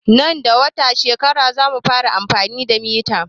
Nan da wata shekarar zamu fara amfani da mita